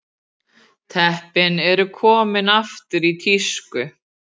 Teppin eru komin aftur í tísku